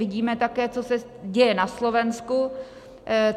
Vidíme také, co se děje na Slovensku.